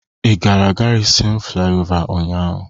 Ị gara Gárịzịn Flaịọvá ụnyahụ?